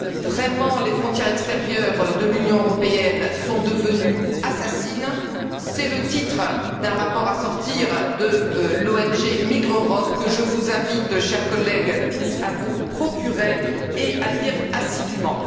Vraiment, les frontières extérieures de l'Union européenne sont devenues assassines. C'est le titre d'un rapport à sortir de l'ONG Migreurop, que je vous invite, chers collègues, à tous vous procurer et à lire assidûment.